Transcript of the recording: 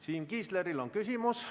Siim Kiisleril on küsimus.